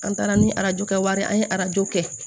An taara ni arajo kɛ wari ye an ye arajo kɛ